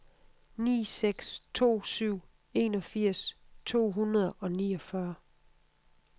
ni seks to syv enogfirs to hundrede og niogfyrre